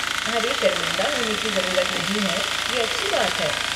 अरे शर्मिंदा होने की ज़रूरत नहीं है, ये अच्छी बात है।